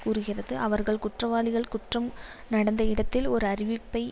கூறுகிறது அவர்கள் குற்றவாளிகள் குற்றம் நடந்த இடத்தில் ஓர் அறிவிப்பை